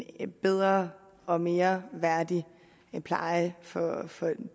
en bedre og mere værdig pleje for for